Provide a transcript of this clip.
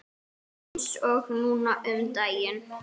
Há eff.